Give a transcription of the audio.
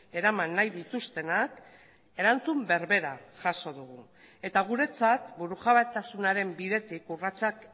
eraman nahi dituztenak erantzun berbera jaso dugu eta guretzat burujabetasunaren bidetik urratsak